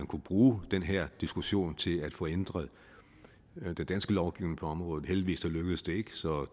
kunne bruge den her diskussion til at få ændret den danske lovgivning på området heldigvis lykkedes det ikke så